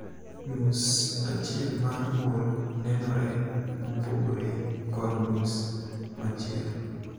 Nus achiel mar 'mole' nenore mopogore kod nus machielo.